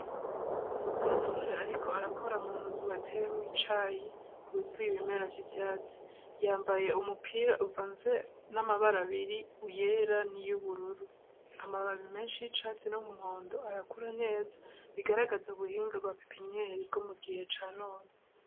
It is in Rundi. Umusore ariko arakora munzu bateyemwo icayi huzuye ibimera vy'ivyatsi, Yambaye umupira uvanze n'amabara abiri iyera niyu bururu, Amababi beshi y'icatsi n'umuhondo arakura neza bigaragaza ubuhinga bw'apipinyeri bwo mu gihe ca none.